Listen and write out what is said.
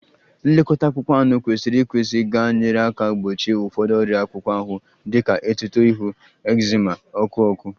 Nlekọta akpụkpọ anụ kwesịrị ekwesị ga-enyere aka gbochie ụfọdụ ọrịa akpụkpọ ahụ dị ka etuto ihu, ekzima, ọkụ ọkụ